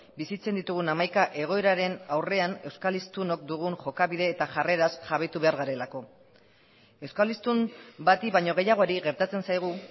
bizitzen ditugun hamaika egoeraren aurrean euskal hiztunok dugun jokabide eta jarreraz jabetu behar garelako euskal hiztun bati baino gehiagori gertatzen zaigu